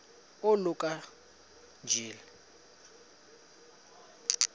oluka ka njl